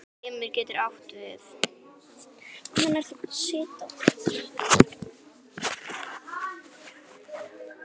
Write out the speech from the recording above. Limur getur átt við